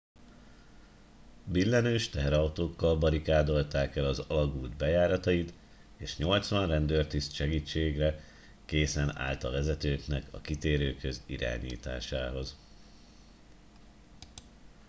billenős teherautókkal barikádolták el az alagút bejáratait és 80 rendőrtiszt segítségre készen állt a vezetőknek a kitérőkhöz irányításához